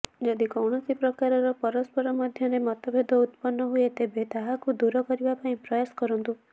ଯଦି କୌଣସି ପ୍ରକାରର ପରସ୍ପର ମଧ୍ୟରେ ମତଭେଦ ଉତ୍ପନ୍ନ ହୁଏ ତେବେ ତାହାକୁ ଦୂର କରିବାପାଇଁ ପ୍ରୟାସ କରନ୍ତୁ